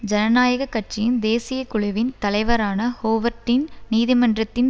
ஜனநாயக கட்சியின் தேசிய குழுவின் தலைவரான ஹோவர்ட்டீன் நீதிமன்றத்தின்